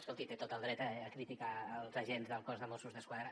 escolti té tot el dret a criticar els agents del cos de mossos d’esquadra